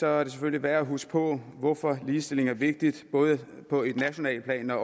er det selvfølgelig værd at huske på hvorfor ligestilling er vigtig både på et nationalt plan